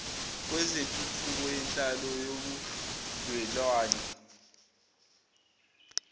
kwezentuthuko yenhlalo nobudlelwnane